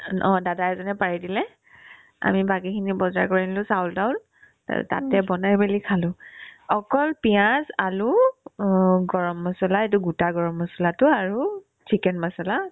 এ অ দাদা এজনে পাৰি দিলে আমি বাকিখিনিয়ে বজাৰ কৰি আনিলো চাউল-তাউল তাতে বনাই মিলি খালো অকল পিয়াজ আলু অ গৰম মছলা এইটো গোটা গৰম মছলাতো আৰু chicken মছলা